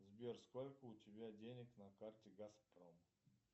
сбер сколько у тебя денег на карте газпром